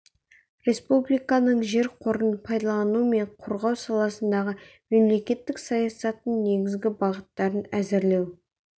республиканың жер қорын пайдалану мен қорғау саласындағы мемлекеттік саясаттың негізгі бағыттарын әзірлеу